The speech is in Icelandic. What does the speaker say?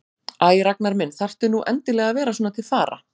Æ, Ragnar minn, þarftu nú endilega að vera svona til fara?